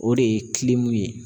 O de ye ye.